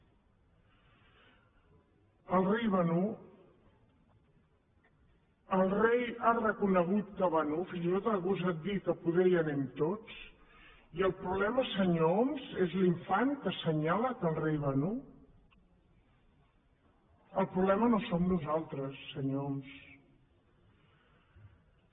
el rei va nu el rei ha reconegut que va nu fins i tot ha gosat dir que poder hi anem tots i el problema senyor homs és l’infant que assenyala que el rei va nu el problema no som nosaltres senyor homs